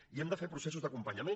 i hem de fer processos d’acompanyament